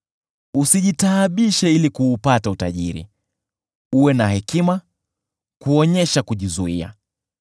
Usijitaabishe ili kuupata utajiri, uwe na hekima kuonyesha kujizuia.